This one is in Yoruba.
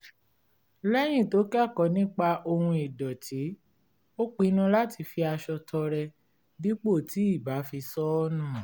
lẹ́yìn tó kẹ́kọ̀ọ́ nípa ohun ìdọ̀tí ó pinnu láti fi aṣọ tọrẹ dípò tí ì bá fi sọ ọ́ nù